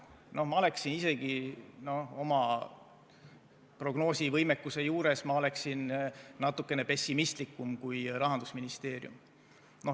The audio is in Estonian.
Oma prognoosivõimekusega oleksin ma isegi natukene pessimistlikum kui Rahandusministeerium.